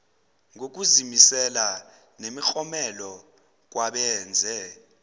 ngokuzimisela nemiklomelo kwabenze